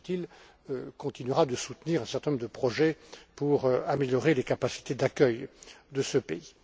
Busuttil, continuera de soutenir un certain nombre de projets pour améliorer les capacités d'accueil de ce pays.